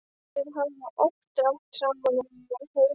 Þau hafa oft rætt saman um heima og geima.